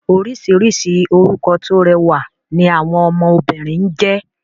Orísìírísìí orúkọ tó rẹwà ni àwọn ọmọ obìnrin ń jẹ́